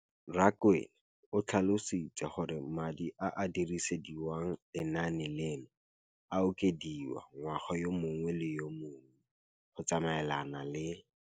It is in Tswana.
Rakwena o tlhalositse gore madi a a dirisediwang lenaane leno a okediwa ngwaga yo mongwe le yo mongwe go tsamaelana le